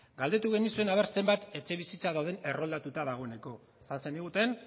galdetu genizuen ea zenbat etxebizitza dauden erroldatuak dagoeneko esan zeniguten